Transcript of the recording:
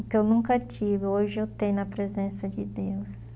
O que eu nunca tive, hoje eu tenho na presença de Deus.